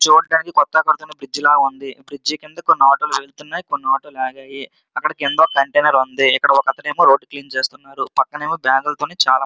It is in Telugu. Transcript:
చూడడానికి కొత్తగా కడుతున్న బ్రిడ్జి లాగా ఉన్నది బ్రిడ్జి క్రింద ఆటోలు వెళ్తున్నాయి కొన్ని ఆటోలు ఆగి ఉన్నాయి ఇక్కడ కంటైనర్ ఉన్నది ఇక్కడ ఒక అతను రోడ్డు క్లీన్ చేస్తున్నారు పక్కన బ్యాగ్లులతో చాలా మంది మనుషులు ఉన్నారు.